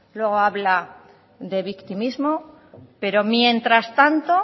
luego habla de victimismo pero mientras tanto